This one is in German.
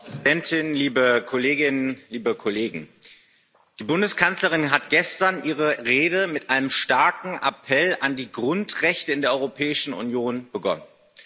Frau Präsidentin, liebe Kolleginnen liebe Kollegen! Die Bundeskanzlerin hat gestern ihre Rede mit einem starken Appell an die Grundrechte in der Europäischen Union begonnen.